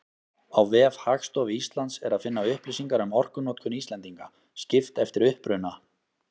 Á vef Hagstofu Íslands er að finna upplýsingar um orkunotkun Íslendinga, skipt eftir uppruna.